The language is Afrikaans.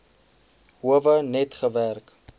howe net gewerk